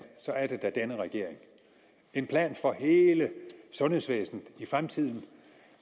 så er det da denne regering en plan for hele sundhedsvæsenet i fremtiden